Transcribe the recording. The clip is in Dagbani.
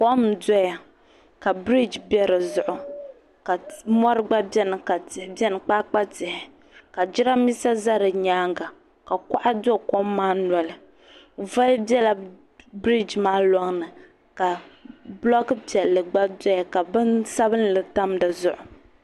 Kom n doya ka biriji be di zuɣu ka mori gba biɛni ka tihi biɛni kpaakpa tihi ka jirambisa za di nyaanga ka kuɣa do kom maa noli voli bela biriji maa loŋni ka buloku piɛlli gba doya ka bini sabinli tam di zuɣu.